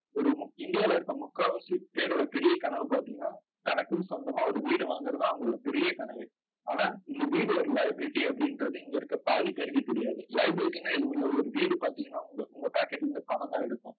ஒரு முக் இந்தியால இருக்க முக்காவாசி பேரோட பெரிய கனவு பாத்தீங்கன்னா, தனக்குன்னு சொந்தமா ஒரு வீடு வாங்கறது அவங்களோட பெரிய கனவே. ஆனா இந்த வீடு ஒரு liability அப்படின்றது இங்க இருக்க பாதி பேருக்கு தெரியாது liability ன்னா எதுவும் இல்லை. ஒரு வீடு பாத்தீங்கன்னா உங்க pocket ல இருந்து பணம்தான் எடுக்கும்